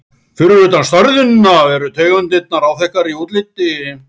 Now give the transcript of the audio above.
Fyrir utan stærðina eru tegundirnar áþekkar í útliti.